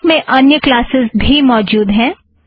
LaTeX में अन्य classes भी मौजुद हैं